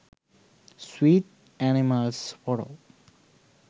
sweet animals photos